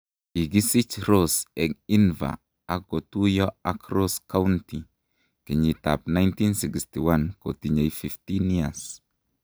Kikisich Ross eng Inver ak kotuiyo ak Ross County kenyitab 1961 kotinyei 15 years.